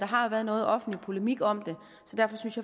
har været noget offentlig polemik om det så derfor synes